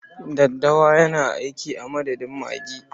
Daddawa yana aiki a madadin magi.